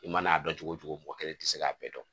I mana a dɔn cogo o cogo mɔgɔ kelen tɛ se k'a bɛɛ dɔn